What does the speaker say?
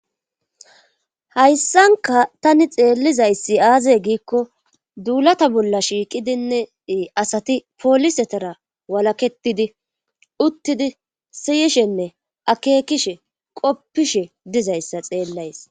Hayssanka tani xeellizayssi aazey giikko duulata bolla shiiqidinne asati poolisetera walaketidi uttidi siyishenne akeekishe qoppishe dizayssa xeellays.